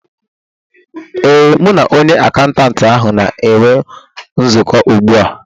Ee, m na onye akaụntantị ahụ na-enwe nzukọ ugbu a